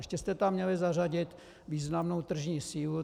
Ještě jste tam měli zařadit významnou tržní sílu.